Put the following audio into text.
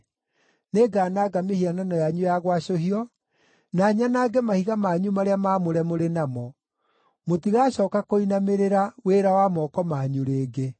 Nĩngananga mĩhianano yanyu ya gwacũhio, na nyanange mahiga manyu marĩa maamũre mũrĩ namo; mũtigacooka kũinamĩrĩra wĩra wa moko manyu rĩngĩ.